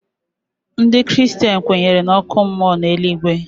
Ndị kristen kwenyere n'ọkụ mmụọ na eluigwe.